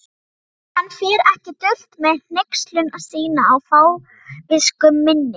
Hann fer ekki dult með hneykslun sína á fávisku minni.